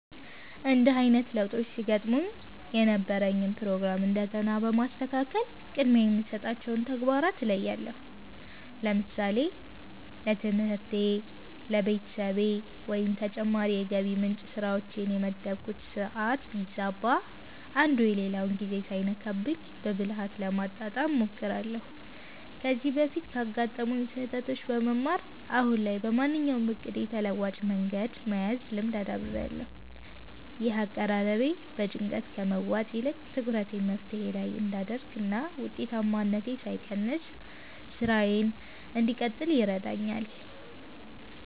እንዲህ አይነት ለውጦች ሲገጥሙኝ የነበረኝን ፕሮግራም እንደገና በማስተካከል ቅድሚያ የሚሰጣቸውን ተግባራት እለያለሁ። ለምሳሌ ለትምህርቴ፣ ለቤተሰቤ ወይም ለተጨማሪ የገቢ ምንጭ ስራዎቼ የመደብኩት ሰዓት ቢዛባ፣ አንዱ የሌላውን ጊዜ ሳይነካብኝ በብልሃት ለማጣጣም እሞክራለሁ። ከዚህ በፊት ካጋጠሙኝ ስህተቶች በመማር፣ አሁን ላይ ለማንኛውም እቅዴ ተለዋጭ መንገድ የመያዝ ልምድ አዳብሬያለሁ። ይህ አቀራረቤ በጭንቀት ከመዋጥ ይልቅ ትኩረቴን መፍትሄው ላይ እንድ አደርግ እና ውጤታማነቴ ሳይቀንስ ስራዬን እንድቀጥል ይረዳኛል።